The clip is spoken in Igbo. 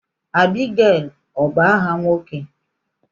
Abigail ọ bu áhà nwoke?